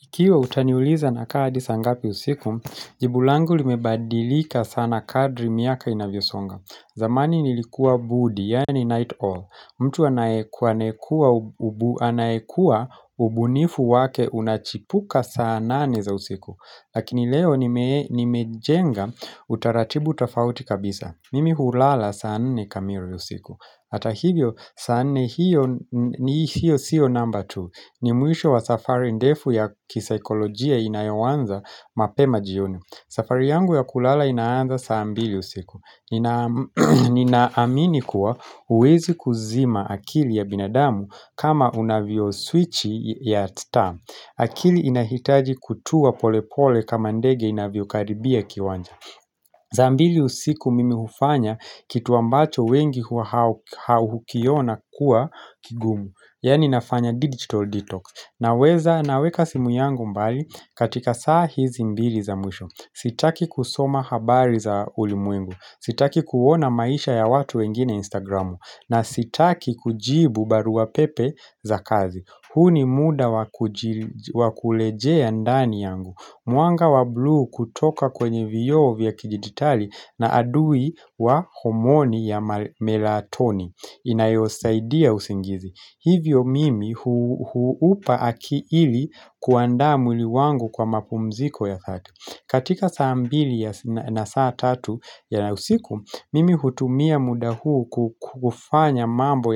Ikiwa utaniuliza nakaa hadi saa ngapi usiku, jibu langu limebadilika sana kadri miaka inavyo songa. Zamani nilikuwa bundi, yani night awl. Mtu anayekuwa ubunifu wake unachipuka saa nane za usiku. Lakini leo nimejenga utaratibu utafauti kabisa. Mimi hulala saa nne kamili usiku. Hata hivyo, saa nne hiyo siyo namba tu. Ni mwisho wa safari ndefu ya kisaikolojia inayoanza mapema jioni. Safari yangu ya kulala inaanza saa mbili usiku. Nina amini kuwa huwezi kuzima akili ya binadamu kama unavyo swichi ya taa. Akili inahitaji kutuwa pole pole kama ndege inavyo karibia kiwanja. Saa mbili usiku mimi hufanya kitu ambacho wengi hukiona kuwa kigumu. Yani nafanya digital detox. Naweka simu yangu mbali katika saa hizi mbili za mwisho Sitaki kusoma habari za ulimwengu. Sitaki kuona maisha ya watu wengine instagramu na sitaki kujibu barua pepe za kazi. Huu ni muda wa kurejea ndani yangu. Mwanga wa blue kutoka kwenye vioo vya kidijitali ni adui wa homoni ya melatoni inayosaidia usingizi Hivyo mimi ili kuandaa mwili wangu kwa mapumziko ya thati. Katika saa mbili na saa tatu ya usiku, Mimi hutumia muda huu kufanya mambo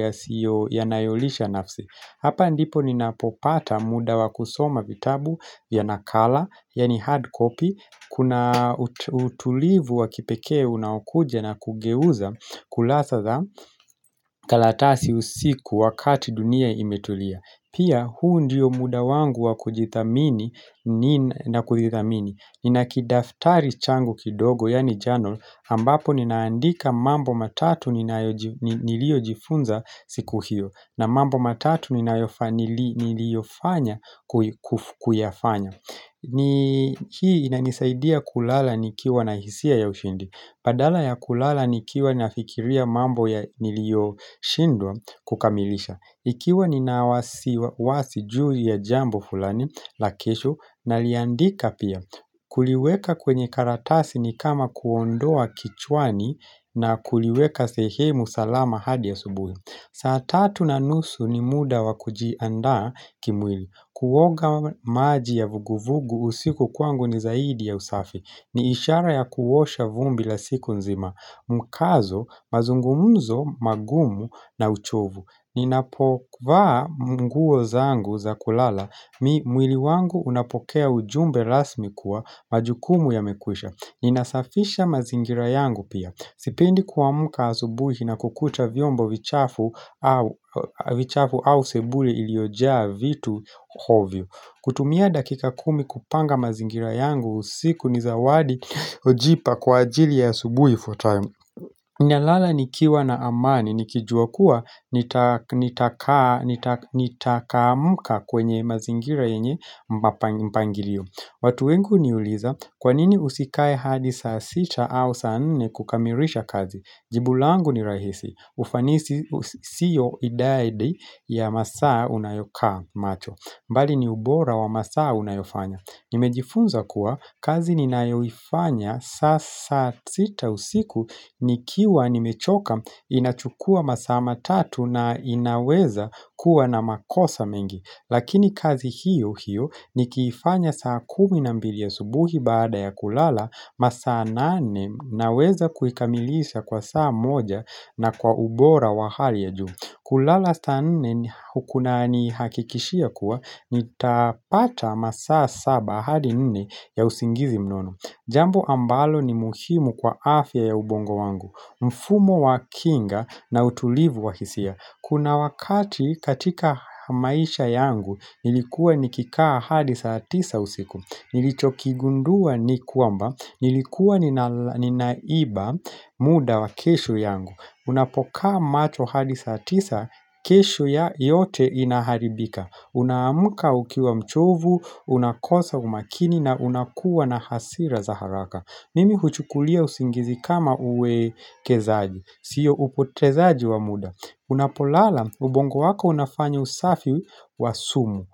nayolisha nafsi. Hapa ndipo ninapo pata muda wa kusoma vitabu ya nakala Yani hard copy Kuna utulivu wakipekee unaokuja na kugeuza kurasa za karatasi usiku wakati dunia imetulia Pia huu ndiyo muda wangu wa kujithamini na kujithamini nina kidaftari changu kidogo Yani journal ambapo ninaandika mambo matatu niliojifunza siku hiyo na mambo matatu niliofanya kuyafanya hii inanisaidia kulala nikiwa na hisia ya ushindi Badala ya kulala nikiwa nafikiria mambo nilioshindwa kukamilisha. Ikiwa nina wasiwasi juu ya jambo fulani, la kesho naliandika pia. Kuliweka kwenye karatasi ni kama kuondoa kichwani na kuliweka sehemu salama hadi subuhi. Saa tatu na nusu ni muda wa kujiandaa kimwili. Kuoga maji ya vuguvugu usiku kwangu ni zaidi ya usafi. Ni ishara ya kuosha vumbi la siku nzima, mkazo, mazungumzo, magumu na uchovu Ninapovaa nguo zangu za kulala, mwili wangu unapokea ujumbe rasmi kuwa majukumu yamekwisha. Ninasafisha mazingira yangu pia. Sipendi kuamka asubuhi na kukuta vyombo vichafu vichafu au sebule iliyojaa vitu ovyo kutumia dakika kumi kupanga mazingira yangu usiku ni zawadi hujipa kwa ajili ya asubuhi ifuatayo. Nalala nikiwa na amani, nikijua kuwa nitaamka kwenye mazingira yenye mpangilio. Watu wengi huniuliza, kwa nini usikae hadi saa sita au saa nne kukamilisha kazi? Jibu langu ni rahisi, ufanisi siyo idadi ya masaa unayokaa macho. Bali ni ubora wa masaa unayofanya. Nimejifunza kuwa kazi ninayoifanya saa sita usiku nikiwa nimechoka inachukua masaa matatu na inaweza kuwa na makosa mengi. Lakini kazi hiyo hiyo nikiifanya saa kumi na mbili subuhi baada ya kulala masaa nane naweza kuikamilisha kwa saa moja na kwa ubora wa hali ya juu. Kulala saa nne kunanihakikishia kuwa nitapata masaa saba hadi nane ya usingizi mnono. Jambo ambalo ni muhimu kwa afya ya ubongo wangu. Mfumo wa kinga na utulivu wa hisia. Kuna wakati katika maisha yangu, nilikuwa nikikaa hadi saa tisa usiku. Nilichokigundua ni kwamba, nilikuwa ninaiba muda wa kesho yangu. Unapokaa macho hadi saa tisa, kesho yote inaharibika. Unaamka ukiwa mchovu, unakosa umakini na unakuwa na hasira za haraka. Mimi huchukulia usingizi kama uwekezaji, sio upotezaji wa muda Unapolala, ubongo wako unafanyo usafi wa sumu.